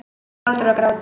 Hlátur og grátur.